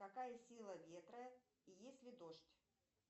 какая сила ветра и есть ли дождь